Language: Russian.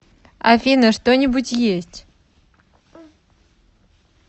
афина что нибудь есть